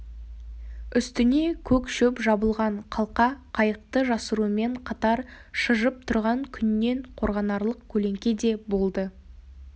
үстіне көк шөп жабылған қалқа қайықты жасырумен қатар шыжып тұрған күннен қорғанарлық көлеңке де болды